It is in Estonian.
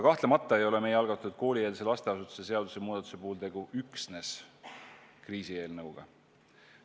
Samas ei ole meie algatatud koolieelse lasteasutuse seaduse muudatuse puhul tegu üksnes kriisieelnõuga.